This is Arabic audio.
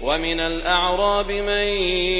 وَمِنَ الْأَعْرَابِ مَن